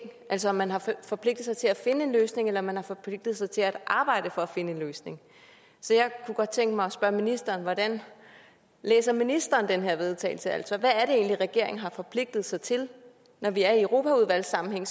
altså om man har forpligtet sig til at finde en løsning eller om man har forpligtet sig til at arbejde for at finde en løsning så jeg kunne godt tænke mig at spørge ministeren hvordan læser ministeren det her vedtagelse altså hvad er det egentlig regeringen har forpligtet sig til når vi er i europaudvalgssammenhæng